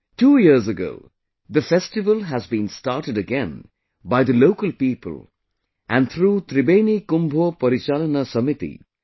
Two years ago, the festival has been started again by the local people and through 'Tribeni Kumbho Porichalona Shomiti'